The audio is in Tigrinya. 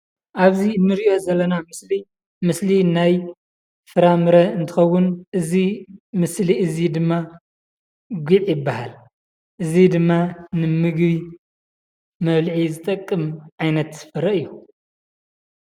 ኣብዚ እንሪኦ ዘለና ምስሊ ምስሊ ናይ ፍራምረ እንትኸውን እዚ ምስሊ እዚ ድማ ጉዕ ይባሃል፡፡ እዚ ድማ ንምግቢ መብልዒ ዝጠቅም ዓይነት ፍረ እዩ፡፡